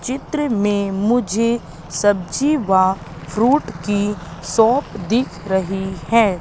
चित्र में मुझे सब्जी व फ्रूट की शॉप दिख रही है।